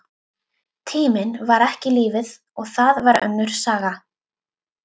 Tíminn var ekki lífið, og það var önnur saga.